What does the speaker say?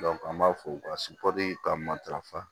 an b'a fɔ u ka ka matarafa